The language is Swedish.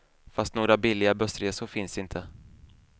Fast några billiga bussresor finns inte.